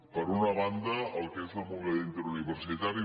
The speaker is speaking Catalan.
per una banda el que és la mobilitat interuniversitària